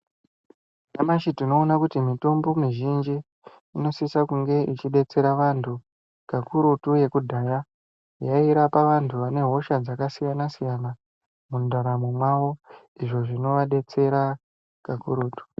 Nyamashi tinoona kuti mitombo mizhinji inosisa kunge ichidetsera vantu kakurutu yekudhaya yairapa vantu vane hosha dzakasiyana siyana mundaramo mawo izvo zvinovadetsera kakurutu.